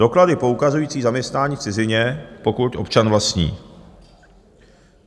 Doklady poukazující zaměstnání v cizině, pokud občan vlastní.